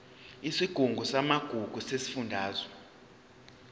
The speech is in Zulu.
isigungu samagugu sesifundazwe